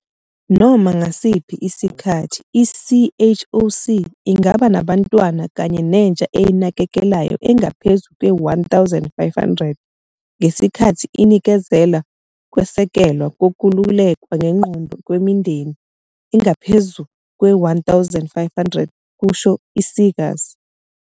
"Noma ngasiphi isikhathi, i-CHOC ingaba nabantwana kanye nentsha eyinakekelayo engaphezu kwe-1 500, ngesikhathi inikezela ukwesekelwa kokululekwa ngengqondo kwimindeni engaphezu kwe-1 500," kusho u-Seegers.